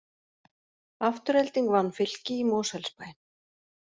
Afturelding vann Fylki í Mosfellsbæ